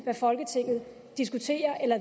hvad folketinget diskuterer eller